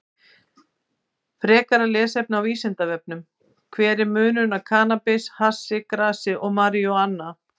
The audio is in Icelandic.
Frekara lesefni á Vísindavefnum: Hver er munurinn á kannabis, hassi, grasi og marijúana?